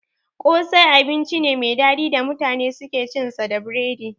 Kosai abinci ne mai daɗi da mutane suke cin sa da biredi